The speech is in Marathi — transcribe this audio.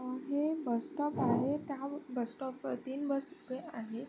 हे बसस्टॉप आहे त्या बस स्टॉप वरती तीन बस उभे आहे.